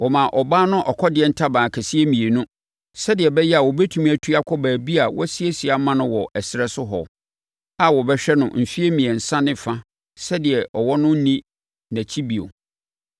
Wɔmaa ɔbaa no ɔkɔdeɛ ntaban akɛseɛ mmienu, sɛdeɛ ɛbɛyɛ a ɔbɛtumi atu akɔ baabi a wɔasiesie ama no wɔ ɛserɛ so hɔ a wɔbɛhwɛ no mfeɛ mmiɛnsa ne fa sɛdeɛ ɔwɔ no renni nʼakyi bio.